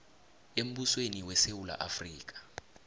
embusweni wesewula afrika